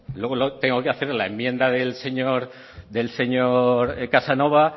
luego tengo que hacerle la enmienda del señor casanova